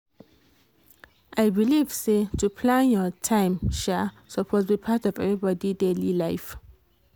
i believe say to plan your time um suppose be part of everybody daily life